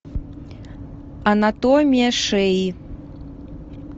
анатомия шеи